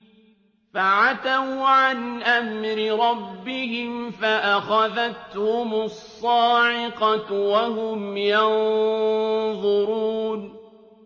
فَعَتَوْا عَنْ أَمْرِ رَبِّهِمْ فَأَخَذَتْهُمُ الصَّاعِقَةُ وَهُمْ يَنظُرُونَ